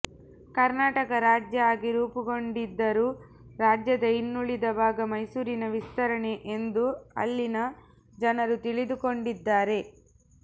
ಕರ್ನಾಟಕ ರಾಜ್ಯ ಆಗಿ ರೂಪುಗೊಂಡಿದ್ದರೂ ರಾಜ್ಯದ ಇನ್ನುಳಿದ ಭಾಗ ಮೈಸೂರಿನ ವಿಸ್ತರಣೆ ಎಂದು ಅಲ್ಲಿನ ಜನರು ತಿಳಿದುಕೊಂಡಿದ್ದಾರೆ